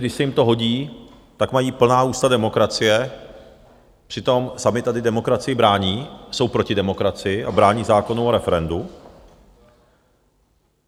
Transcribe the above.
Když se jim to hodí, tak mají plná ústa demokracie, přitom sami tady demokracii brání, jsou proti demokracii a brání zákonu o referendu.